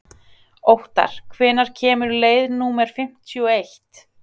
Óttar, hvenær kemur leið númer fimmtíu og eitt?